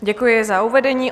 Děkuji za uvedené.